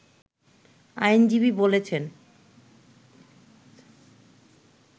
আইনজীবী বলছেন